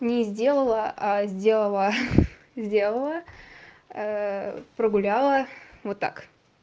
не сделала а сделала сделала прогуляла вот так